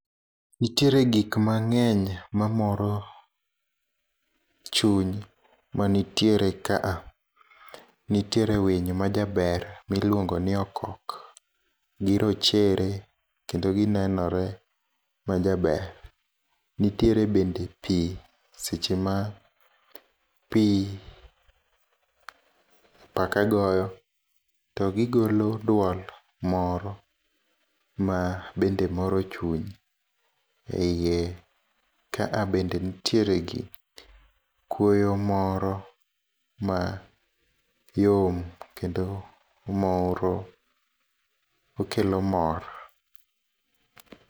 Nitiere gikmang'eny mamoro chuny mantiere kae, nitiere winy majaber ma iluongo ni okok, girochere kendo ginenore ma jaber, nitiere bende pii sechema pii apaka goyo, to gigolo duol moro mabende moro chuny, e iye kaa bende nitiere gi kwoyo moro mayom kendo omoro, okelo mor